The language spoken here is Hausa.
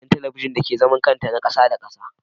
Nasamu aiki agidan talabijin dake zaman kanta na kasa Da kasa.